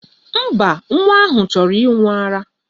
Mba, nwa ahụ chọrọ ịṅụ ara.